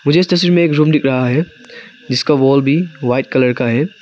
मुझे इस तस्वीर में एक रूम दिख रहा है जिसका वॉल भी व्हाइट कलर का है।